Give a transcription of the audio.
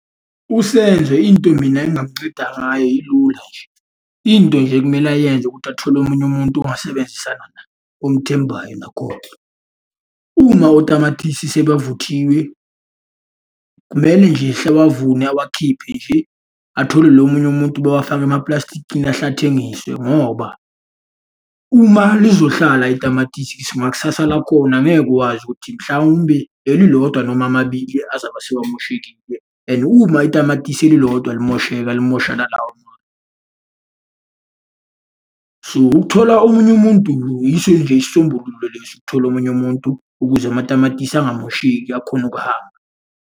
USenzo into mina engingamunceda ngayo ilula nje. Into nje ekumele ayenze ukuthi athole omunye umuntu ongasebenzisana naye, omethembayo nakhona. Uma otamatisi sebavuthiwe, kumele nje awavune awakhiphe nje. Athole nomunye umuntu bawafake emaplastikini ahle athengiswe ngoba, uma lizohlala itamatisi ngakusasa lakhona ngeke uwazi ukuthi mhlawumbe elilodwa noma amabili azabe sewamoshekile and uma itamatisi elilodwa limosheka limosha nalawa amanye. So, ukuthola omunye umuntu, yiso nje isisombululo lesi ukuthola omunye umuntu, ukuze amatamatisi angamosheki akhone ukuhamba.